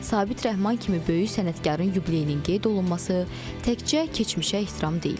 Sabit Rəhman kimi böyük sənətkarın yubileyinin qeyd olunması təkcə keçmişə ehtiram deyil.